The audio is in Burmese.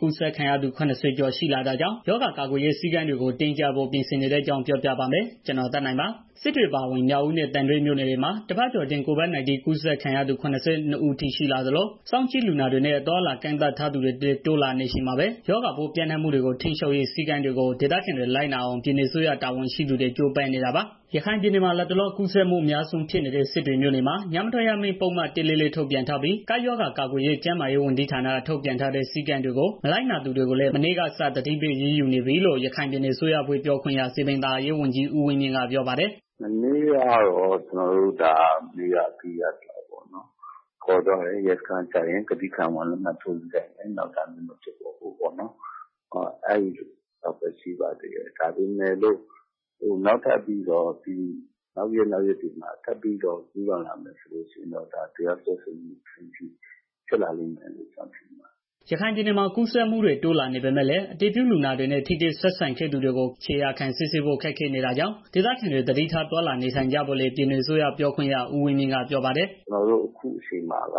ကူးစက်ခံရသူ ၇၀ ကျော် ရှိလာနေတာကြောင့် ကပ်ရောဂါ ကာကွယ်ရေး စည်းကမ်းတွေကို တင်းကြပ်ဖို့ ပြင်ဆင်နေတဲ့အကြောင်း ပြောပြပါမယ်။ ဗွီအိုအေမြန်မာပိုင်းသတင်းထောက် ကိုသက်နိုင်က ရခိုင်ကနေ သတင်းပေးပို့ထားပါတယ်။ စစ်တွေအပါအဝင် မြောက်ဦးနဲ့ သံတွဲ မြို့နယ်တွေမှာ တစ်ပတ်ကျော်အတွင်း COVID-19 ကူးစက်ခံရသူ ၇၂ ဦးထိရှိလာသလို စောင့်ကြည့်လူနာတွေနဲ့ အသွားအလာ ကန့်သတ်ထား သူတွေလည်း တိုးလာနေချိန်မှာပဲ ရောဂါပိုးပျံ့နှံ့မှုတွေကို ထိန်းချုပ်ရေး စည်းကမ်းတွေကို ဒေသခံတွေ လိုက်နာအောင် ပြည်နယ်အစိုးရတာဝန်ရှိသူတွေ ကြိုးပမ်းနေတာပါ။ ရခိုင်ပြည်နယ်မှာ လတ်တလော ကူးစက်မှု အများဆုံဖြစ်နေတဲ့ စစ်တွေမြို့နယ်မှာ ညမထွက်ရအမိန့် ပုဒ်မ ၁၄၄ ထုတ်ပြန်ထားပြီး၊ ကပ်ရောဂါ ကာကွယ်ရေး ကျန်းမာရေးဝန်ကြီးဌာနက ထုတ်ပြန်ထားတဲ့ စည်းကမ်းတွေကို မနာလိုက်နာသူတွေကိုလည်း မနေ့ကစ သတိပေး အရေးယူနေပြီလို့ ရခိုင်ပြည်နယ် အစိုးရအဖွဲ့ပြောခွင့်ရ စည်ပင်သာယာရေးဝန်ကြီး ဦးဝင်းမြင့်ကပြောပါတယ်။ "မနေ့ကတော့ ကျနော်တို့ Mask မတပ်တဲ့သူတွေကို ရဲစခန်းကို ခေါ်သွားတယ်။ စခန်းရောက်တော့ ခံဝန်ကတိ လက်မှတ်ထားခိုင်းတယ်။ နောက်ထပ်ဒီလိုမလုပ်ဖို့ပေါ့နော်။ အဲဒီလောက်ပဲရှိပါသေးတယ်။ ဒါပေမဲ့လည်း နောက်ရက်၊ နောက်ရက်တွေမှာ ထပ်ပြီးတော့ ကျူးလွန်လာမယ်ဆိုရင် တရားစွဲဆိုဖို့အထိ ဖြစ်လာလိမ့်မယ်။" ရခိုင်ပြည်နယ်မှာ ကူးစက်မှုတွေ တိုးလာနေပေမဲ့လည်း အတည်ပြုလူနာတွေနဲ့ ထိတွေ့ဆက်ဆံသူတွေကို ခြေရာခံစစ်ဆေးဖို့ ခက်ခဲနေတာကြောင့် ဒေသခံတွေ သတိထား သွားလာနေထိုင်ကြဖို့လည်း ပြည်နယ်အစိုးရ ပြောခွင့်ရ ဦးဝင်းမြင့်က ပြောပါတယ်။ "ကျနော်တို့ အခုအချိန်မှာ လူ